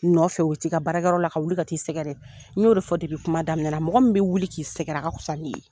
Nɔfɛ o bɛ t'i ka baarakɛyɔrɔ la ka wuli ka t'i sɛgɛrɛ, n y'o de fɔ kuma daminɛ na mɔgɔ min bɛ wuli k'i sɛgɛrɛ a ka kusa ni ye.